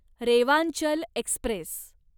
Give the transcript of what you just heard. Rewanchal Express